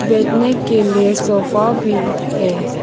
बैठने के लिए सोफा भी है।